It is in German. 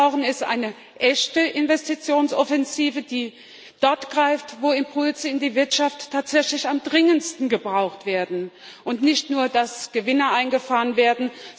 Was wir brauchen, ist eine echte Investitionsoffensive, die dort greift, wo Impulse in die Wirtschaft tatsächlich am dringendsten gebraucht werden, und nicht nur, dass Gewinne eingefahren werden.